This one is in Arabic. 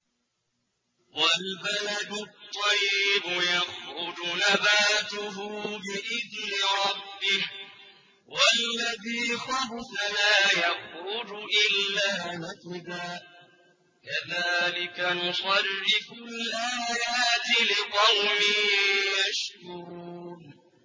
وَالْبَلَدُ الطَّيِّبُ يَخْرُجُ نَبَاتُهُ بِإِذْنِ رَبِّهِ ۖ وَالَّذِي خَبُثَ لَا يَخْرُجُ إِلَّا نَكِدًا ۚ كَذَٰلِكَ نُصَرِّفُ الْآيَاتِ لِقَوْمٍ يَشْكُرُونَ